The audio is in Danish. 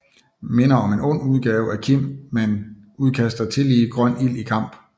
Minder om en ond udgave af Kim men udkaster tillige grøn ild i kamp